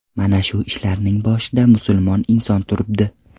Mana shu ishlarning boshida musulmon inson turibdi.